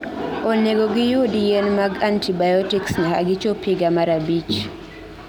Onego giyud yien mag antibiotics nyaka gichop higa mar 5